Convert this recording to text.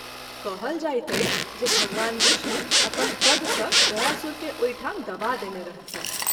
कहल जाइत अछि जे भगवान विष्णु अपन पद सँ गयासुर के ओहि ठाम दबा देने रहथिन्ह।